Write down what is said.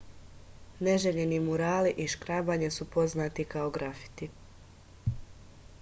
neželjeni murali i škrabanje su poznati kao grafiti